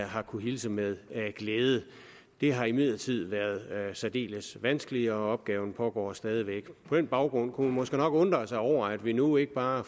har kunnet hilse med glæde det har imidlertid været særdeles vanskeligt og opgaven pågår stadig væk på den baggrund kunne man måske nok undre sig over at vi nu ikke bare